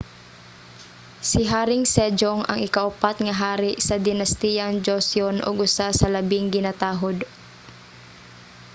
si haring sejong ang ikaupat nga hari sa dinastiyang joseon ug usa sa labing ginatahud